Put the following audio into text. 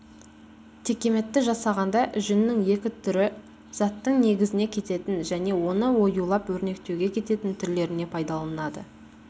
текеметті жасағанда жүннің екі түрі заттың негізіне кететін және оны оюлап-өрнектеуге кететін түрлеріне пайдаланылады